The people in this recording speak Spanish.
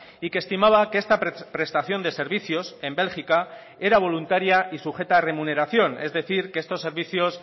y que estimaba que esta prestación de servicios en bélgica era voluntaria y sujeta a remuneración es decir que estos servicios